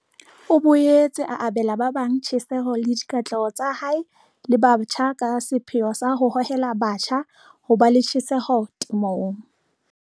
O boetse o abela ba bang tjheseho le dikatleho tsa hae le ba batjha ka sepheo sa ho hohela batjha ho ba le tjheseho temong.